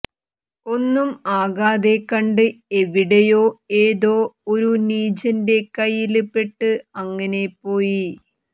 ഒന്നും ആകാതെകണ്ട് എവിടെയോ ഏതോ ഒരു നീചന്റെ കൈയ്യില് പെട്ട് അങ്ങനെപോയി